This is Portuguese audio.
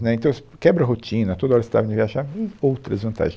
Né, Então, assim, quebra a rotina, toda hora você estava indo viajar, e outras vantagens.